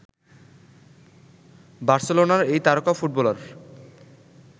বার্সেলোনার এই তারকা ফুটবলার